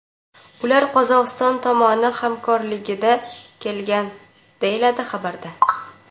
Ular Qozog‘iston tomoni hamrohligida kelgan”, deyiladi xabarda.